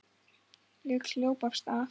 Ég hljóp af stað.